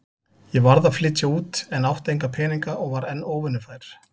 Ég varð að flytja út en átti enga peninga og var enn óvinnufær.